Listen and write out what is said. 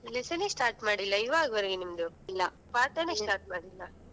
Lesson ನೆ start ಮಾಡಿಲ್ಲ ಇವಾಗ್ ವರೆಗು ಇಲ್ಲ ಪಾಠನೆ start ಮಾಡಿಲ್ಲ.